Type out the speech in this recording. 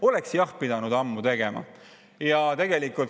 Oleks jah pidanud ammu tegema!